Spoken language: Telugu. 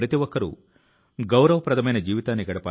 మీ వైపు నుంచి అత్యుత్తమమైన దానిని చేయండి